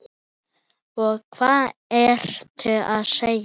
Og hvað ertu að segja?